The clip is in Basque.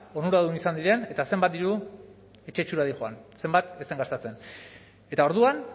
onuradun izan diren eta zenbat diru etxetxora dihoan zenbat ez den gastatzen eta orduan